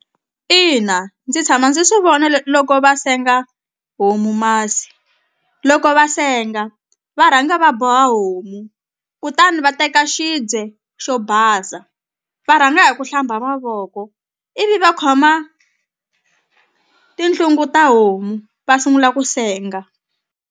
Ina ndzi tshama ndzi swi vona loko va senga homu masi loko va senga va rhanga va boha homu kutani va teka xi swibye xo basa va rhanga hi ku hlamba mavoko ivi va khoma tinhlungu ta homu va sungula ku senga.